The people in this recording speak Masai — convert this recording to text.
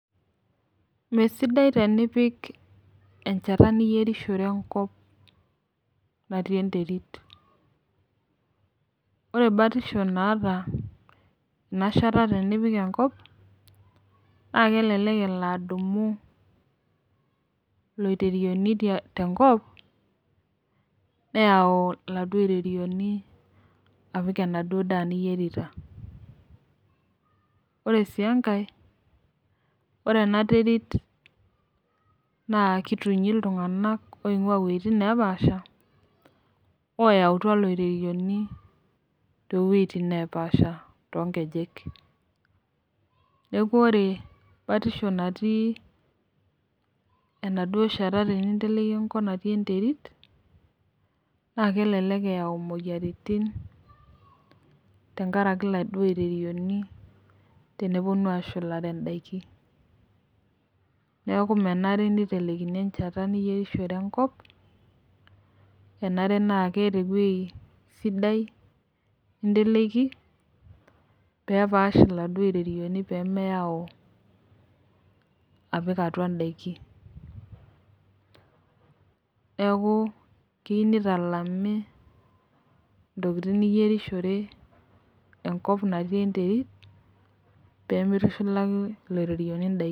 Mesidai tenipik enchata niyerishore enkop natii enterit, ore batisho naata ana inshata tenipik enkop naa kelelek elo adumu loiterioni te nkop neyau eladuo irorioni apik enaduo daa niyerita. Ore sii enkae, ore ena terit naa ketunyi iltunganak oinguaa wejitin napaasha, oyautwa loireyoni to wejitin napaasha too nkejek, neaku ore batisho natii enaduo inshata teninteleki enkop natii enterit naa kelelek eyau imoyiaritin tengaraki iladuo oirerioni ooponu ashulare indaki, neaku menare neitelekini enchata niyerishore enkop enare naa keata eweji sidai ninteleki peepaash iladuo irerieni pemeyau apik atua indaki, neaku keyeu neitalami ntokitin niyerishore enkop natii enterit pemeitushulaki ilererieni indaki.